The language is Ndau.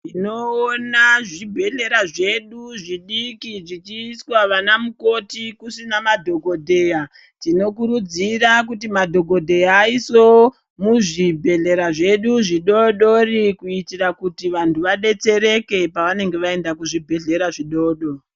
Tinoona zvibhedhlera zvedu zvidiki zvichiiswa vanamukoti kusina madhokodheya tinokurudzira kuti madhokodheya aiswewo muzvibhedhlera zvedu zvidoodori kuitira kuti vantu vadetsereke pavanenge vaenda kuzvibhedhlera zvidoko.